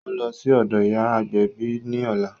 Ó ń lọ sí ọ̀dọ̀ ìyá agbẹ̀bí ní ọ̀la